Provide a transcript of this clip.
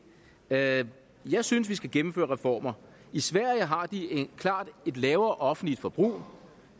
jeg jeg synes vi skal gennemføre reformer i sverige har de klart et lavere offentligt forbrug